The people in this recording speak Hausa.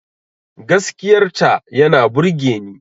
Gaskiyar ta yana burgeni